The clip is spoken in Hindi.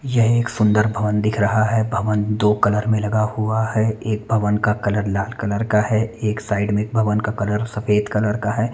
यह एक सुन्दर भवन दिख रहा है भवन दो कलर में लगा हुआ है एक भवन का कलर का लाल कलर का है एक साइड में एक का भवन कलर सफ़ेद कलर का है।